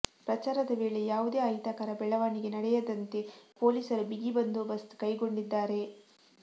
ಪ್ರಚಾರದ ವೇಳೆ ಯಾವುದೇ ಅಹಿತಕರ ಬೆಳವಣಿಗೆ ನಡೆಯದಂತೆ ಪೊಲೀಸರು ಬಿಗಿ ಬಂದೋಬಸ್ತ್ ಕೈಗೊಂಡಿದ್ದಾರೆ